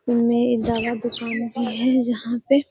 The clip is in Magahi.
एमे दवा दुकान भी है जहाँ पे --